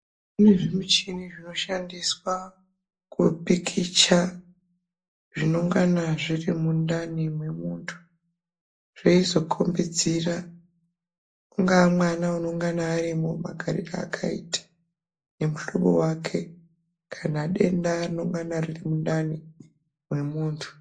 kune zvimichini zvinoshandiswa kupikicha zvinongana zviri mundani mwemuntu. Zveizokombidzira ungaa mwana unongana arimwo magarire akaita nemuhlobo vake kana denda rinengana riri mundani mwemuntu.